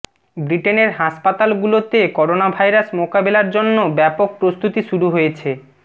ব্রিটেনের হাসপাতালগুলোতে করোনাভাইরাস মোকাবেলার জন্য ব্যাপক প্রস্তুতি শুরু হয়েছে